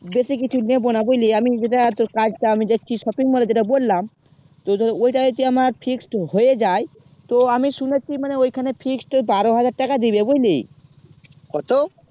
বেঁচে কিছু নিবো না বুঝলি আমি যেটা তোর কাজটা আমি দেখছি shopping mall এ যেটা বললাম তো ধর তো ওটাই আমার fixed হয়ে যায় তো আমি শুনেছি মানে ওখানে fixed টেরোহাজার টাকা দিবে বুঝলি